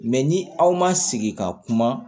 Mɛ ni aw ma sigi ka kuma